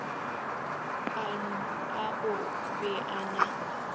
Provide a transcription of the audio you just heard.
a o be a na